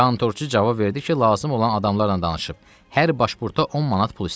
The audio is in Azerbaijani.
Kontorçu cavab verdi ki, lazım olan adamlarla danışıb, hər başpurta 10 manat pul istəyirlər.